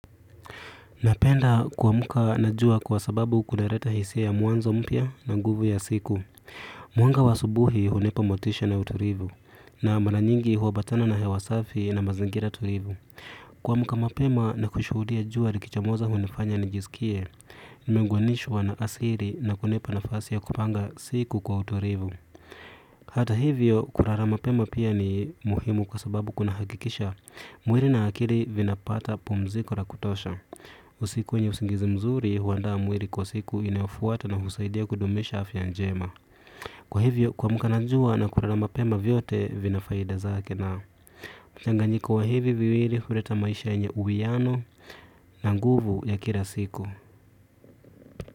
Napenda kuamka na jua kwa sababu kunaleta hisia ya mwanzo mpya na nguvu ya siku. Mwanga wa asubuhi hunipa motisha na uturivu. Na mara nyingi huambatana na hewa safi na mazingira tulivu. Kuamka mapema na kushudia jua likichamoza hunifanya nijisikie. Nimeunganishwa na asili na kunipa nafasi ya kupanga siku kwa utulivu. Hata hivyo, kulala mapema pia ni muhimu kwa sababu kunahakikisha. Mwili na akili vinapata pumziko la kutosha. Usiku yenye usingizi mzuri huanda mwili kwa siku inayofuata na husaidia kudumisha afya njema. Kwa hivyo kuamka na jua na kulala mapema vyote vina faida zake na mchanganyiko wa hivi viwili huleta maisha yenye uwiano na nguvu ya kila siku.